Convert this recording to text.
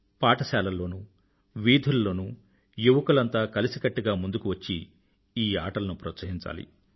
పాఠశాలల్లోనూ వీధులలోనూ యువకులంతా కలిసికట్టుగా ముందుకు వచ్చి ఈ ఆటలను ప్రోత్సహించాలి